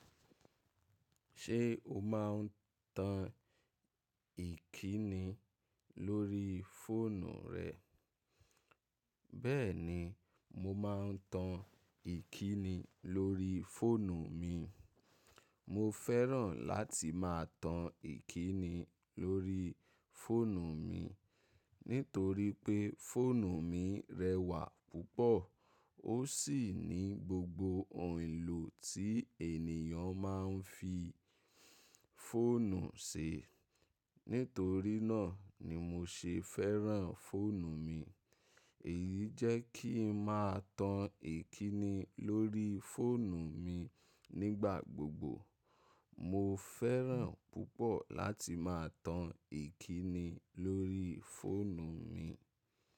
Ṣé o máa ń tan ìkíni lórí fóònù rẹ? Beeni, mo ma n tan ikini lori foonu mi mo feran lati ma tan ikini lori foonu mhi, nitoripe foonu mi rewa pupo, o si ni gbogbo ohun elo ti eniyan ma n fi foonu se. Nítorí náà ni mo ṣe fẹ́ràn fóònù mi. Èyí jẹ́ kí ń máa tan ìkíni lórí fóònù mi nígbà gbogbo. Mo feran pupo lati ma tan ikinni lori foonu mhi.